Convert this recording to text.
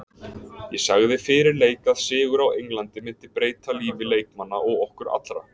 Ég sagði fyrir leik að sigur á Englandi myndi breyta lífi leikmanna og okkar allra.